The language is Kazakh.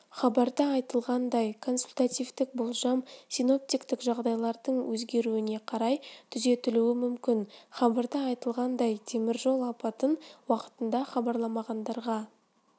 хабарда айтылғандай консультативтік болжам синоптиктік жағдайлардың өзгеруіне қарай түзетілуі мүмкін хабарда айтылғандай теміржол апатын уақытында хабарламағандарға